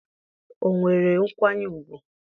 o nwere nkwanye ugwu?